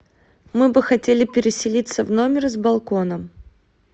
мы бы хотели переселиться в номер с балконом